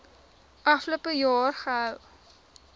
afgelope jaar gehou